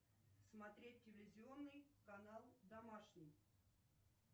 смотреть телевизионный канал домашний